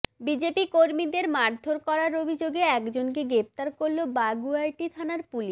BJP কর্মীদের মারধর করার অভিযোগে একজনকে গ্রেফতার করল বাগুইআটি থানার পুলিশ